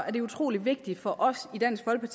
er det utrolig vigtigt for os